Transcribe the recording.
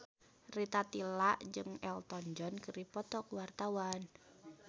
Rita Tila jeung Elton John keur dipoto ku wartawan